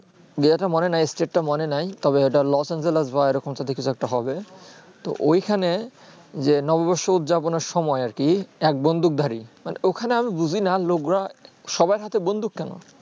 যেহেতু মনে নেই state টা মনে নেই তবে এইটা los angeles বা এইরকম জাতীয় কিছু একটা হবে তো ঐইখানে যে নববর্ষ উদযাপনে সময়ে আর কি এক বন্দুক ধারী ওখানে আমি বুঝি না লোকরা সবার হাথে বন্দুক কেন